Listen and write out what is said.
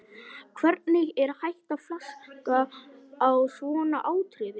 Hvernig er hægt að flaska á svona atriði?